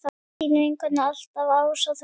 Þín vinkona alltaf, Ása Þórdís.